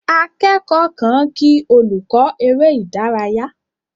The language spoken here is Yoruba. Akẹ́kọ̀ọ́ kan kí olùkọ́ eré ìdárayá.